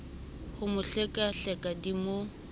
ho mo hlekahleka di mo